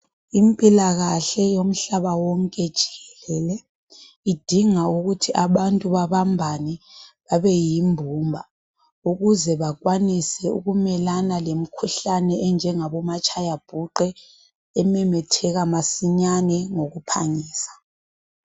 Impilakahle yomhlaba wonke jikelele idinga ukuthi abantu babambane babe yimbumba, ukuze bakwanise ukumelana lemikhuhlane enjengabo matshayabhuqe ememetheka masinyane ngokuphangisa.